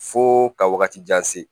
Fo ka wagati jan se